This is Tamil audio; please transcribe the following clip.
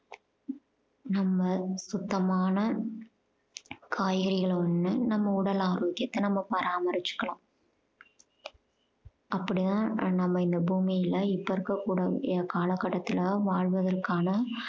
நம்ம சுத்தமான காய்கறிகளை உன்ன நம்ம உடல் ஆரோக்கியத்தை நம்ம பராமரிச்சுக்கலாம். அப்படித்தான் நம்ம இந்த பூமியில இப்ப இருக்கக்கூடிய காலகட்டத்துல வாழ்வதற்கான